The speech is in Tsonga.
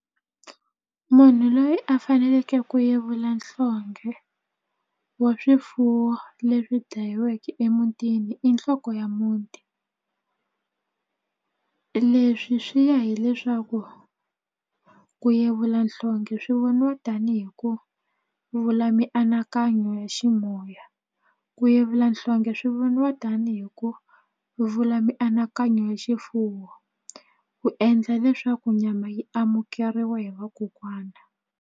Munhu loyi a faneleke ku yevula nhlonghe wa swifuwo leswi dlayiweke emutini i nhloko ya muti leswi swi ya hileswaku ku yevula nhlonghe swi voniwa tani hi ku vula mianakanyo ya ximoya ku yevula nhlonghe swi voniwa tanihi ku vula mianakanyo ya xifuwo ku endla leswaku nyama yi amukeriwa hi vakokwana.